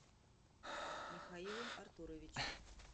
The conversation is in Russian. михаилом артуровичем